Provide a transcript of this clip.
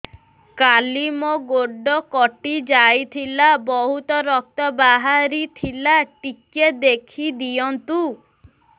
କାଲି ମୋ ଗୋଡ଼ କଟି ଯାଇଥିଲା ବହୁତ ରକ୍ତ ବାହାରି ଥିଲା ଟିକେ ଦେଖି ଦିଅନ୍ତୁ